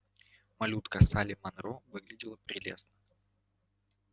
малютка салли манро выглядела прелестно